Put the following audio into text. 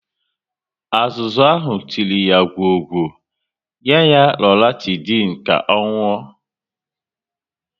Azụzu ahụ tiri ya gwọọ gwo, nye ya Loratidin ka ọ nwụọ